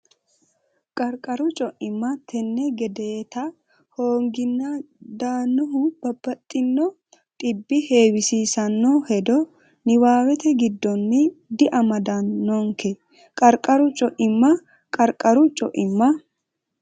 Qarqaru co imma tenne gedeeta hoonginni daannohu babbaxxino dhibbi heewisiissanno hedo niwaawete giddonni diamadannonke Qarqaru co imma Qarqaru co imma.